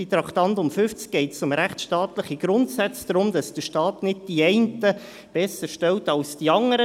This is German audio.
Beim Traktandum 50 geht es um rechtsstaatliche Grundsätze und darum, dass der Staat die einen nicht besserstellt als die anderen.